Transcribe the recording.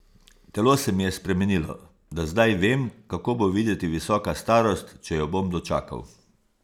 Telo se mi je spremenilo, da zdaj vem, kako bo videti visoka starost, če jo bom dočakal.